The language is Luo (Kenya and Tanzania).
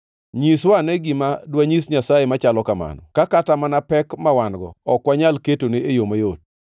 “Nyiswa ane gima dwanyis Nyasaye machalo kamano ka kata mana pek ma wan-go ok wanyal ketone e yo mayot.